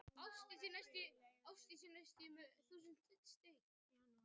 Óverðtryggð lækkuðu verulega í janúar